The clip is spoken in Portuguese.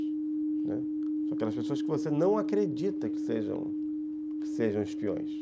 Né, são aquelas pessoas que você não acredita que sejam que sejam espiões.